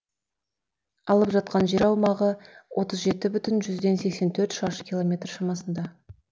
алып жатқан жер аумағы отыз жеті бүтін жүзден сексен төрт шаршы километр шамасында